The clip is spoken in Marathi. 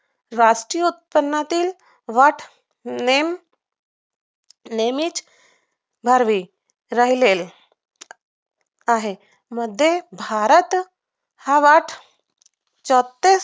राष्ट्रीय उत्पन्नातील वाढ होणे नेहमीच भरले राहिलेले आहे मध्ये भारत हा वाद चौतीस टक्के